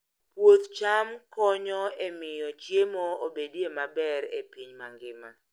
Puoth cham konyo e miyo chiemo obedie maber e piny mangima.